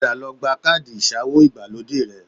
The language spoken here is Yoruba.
Padà lọ gba káàdì ìsawó ìgbàlódé rẹ